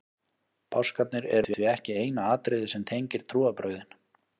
páskarnir eru því ekki eina atriðið sem tengir trúarbrögðin